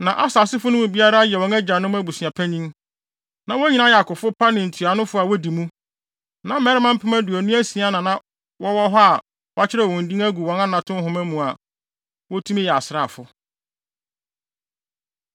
Na Aser asefo no mu biara yɛ wɔn agyanom abusua panyin. Na wɔn nyinaa yɛ akofo pa ne ntuanofo a wodi mu. Na mmarima mpem aduonu asia (26,000) na wɔwɔ hɔ a wɔakyerɛw wɔn din agu wɔn anato nhoma mu a wotumi yɛ asraafo.